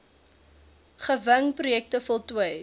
gewing projekte voltooi